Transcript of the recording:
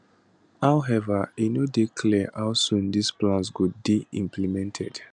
however e no dey clear how soon dis plans go dey implemented